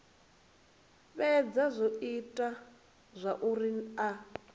fhedza zwo ita zwauri a